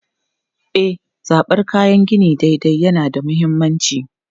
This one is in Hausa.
E, zabar kayan gini daidai yana da mahimmanci.